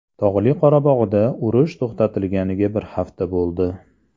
Tog‘li Qorabog‘da urush to‘xtatilganiga bir hafta bo‘ldi.